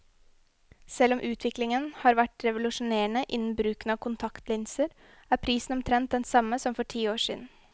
Selv om utviklingen har vært revolusjonerende innen bruken av kontaktlinser, er prisen omtrent den samme som for ti år siden.